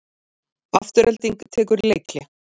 Afturelding tekur leikhlé